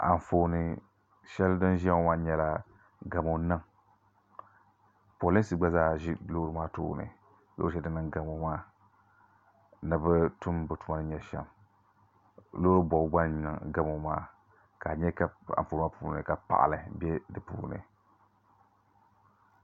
Anfooni shɛli din ʒiya ŋɔ maa nyɛla gamo n niŋ polinsi gba zaa ʒi loori maa tooni din niŋ gamo maa ni bi tum bi tuma ni nyɛ shɛm loori bobgu gba n niŋ gamo maa ka a nyɛ ka Anfooni maa puuni ka paɣali bɛ di puuni